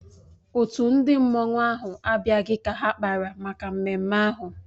Otu ndị mmanụ ahụ abịaghị ka ha kpara maka mmemme ahụ